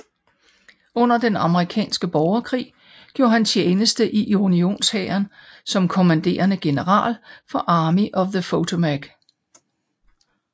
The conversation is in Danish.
Under den amerikanske borgerkrig gjorde han tjeneste i unionshæren som kommanderende general for Army of the Potomac